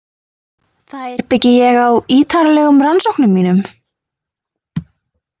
Þær byggi ég á ítarlegum rannsóknum mínum.